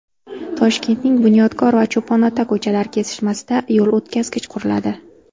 Toshkentning Bunyodkor va Cho‘ponota ko‘chalari kesishmasida yo‘l o‘tkazgich quriladi.